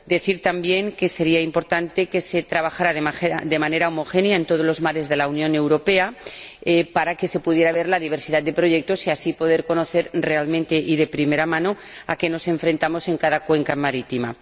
Quiero decir, también, que sería importante que se trabajara de manera homogénea en todos los mares de la Unión Europea para que se pudiera ver la diversidad de proyectos y así poder conocer realmente y de primera mano a qué nos enfrentamos en cada cuenca marítima.